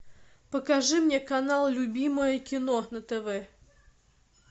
покажи мне канал любимое кино на тв